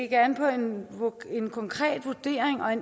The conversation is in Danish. an på en konkret